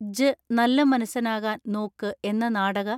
ജ്ജ് നല്ല മന്സനാകാൻ നോക്ക് എന്ന നാടക